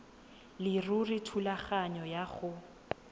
leruri thulaganyo ya go